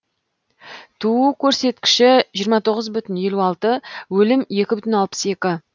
туу көрсіткіші жиырма тоғыз бүтін елу алты өлім екі бүтін алпыс екі